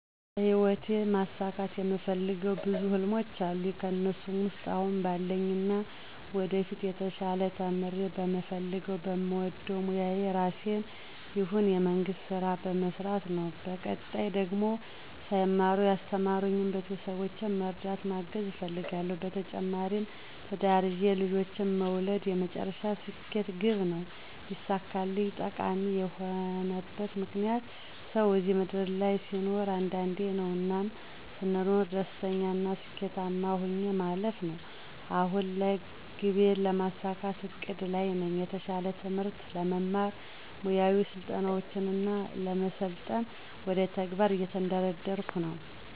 በሂወቴ ማሳካት የምፈልገው ብዙ ህልሞች አሉኝ ከእነሱ ውስጥ አሁን ባለኝና ወደፊት የተሻለ ተምሬ በምፈልገው በምወደው ሞያ የራሴንም ይሁን የመንግስት ስራ መስራት ነው በቀጣይ ደግሞ ሳይማሩ ያስተማሩኝን ቤተሰቦቼን መርዳት ማገዝ እፈልጋለሁ። በተጨማሪም ትዳር ይዤ ልጆችን መውለድ የመጨረሻ ስኬት ግቤ ነው ቢሳካልኝ። ጠቃሚ የሆነበት ምክንያት፦ ሰው እዚህ ምድር ላይ ሲኖር አንዴ ነው። እናም ስኖር ደስተኛና ስኬታማ ሆኜ ማለፍ ነው። አሁን ላይ ግቤን ለማሳካት እቅድ ላይ ነኝ። የተሻለ ትምህርት ለመማር፣ ሙያዊ ስልጠናውችን ለመሰልጠን ወደ ተግባር እየተንደረደርኩ ነው።